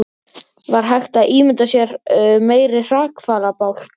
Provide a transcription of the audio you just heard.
Var hægt að ímynda sér meiri hrakfallabálk?